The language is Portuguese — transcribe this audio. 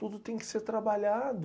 Tudo tem que ser trabalhado.